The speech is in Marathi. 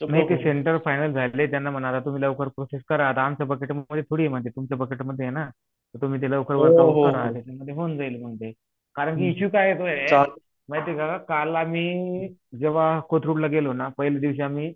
तुम्ही सेंटर फाईनल झालेलं आहे तूनही त्यांना म्हणा आता लवकर प्रोसेस करा आता आमच्या थोडी आहे तुमच्या बजेट मध्ये आहे ना वर्क आऊट करा म्हणजे ते होऊन जाईन कारण कि इशू काय येत हे माहित आहे का काळ आम्ही जेव्हा कोथरूडला गेलोना पहिल्या दिवशी आम्ही